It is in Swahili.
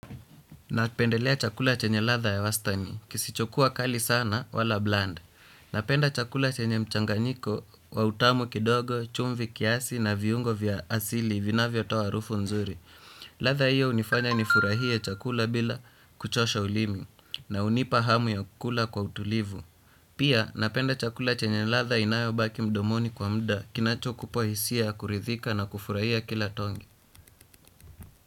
Napendelea chakula chenye ladha ya wastani. Kisichokuwa kali sana wala 'bland'. Napenda chakula chenye mchanganyiko wa utamu kidogo, chumvi kiasi na viungo vya asili vinavyo toa harufu nzuri. Ladha hiyo hunifanya nifurahie chakula bila kuchosha ulimi, na hunipa hamu ya kukula kwa utulivu. Pia napenda chakula chenye ladha inayobaki mdomoni kwa muda kinachokupa hisia ya kuridhika na kufurahia kila tonge.